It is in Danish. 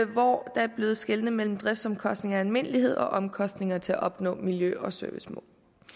hvor der blev skelnet mellem driftsomkostninger i almindelighed og omkostninger til at opnå miljø og servicemål